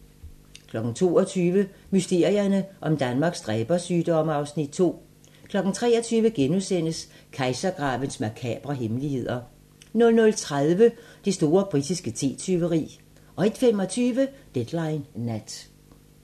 22:00: Mysterierne om Danmarks dræbersygdomme (Afs. 2) 23:00: Kejsergravens makabre hemmeligheder * 00:30: Det store britiske te-tyveri 01:25: Deadline Nat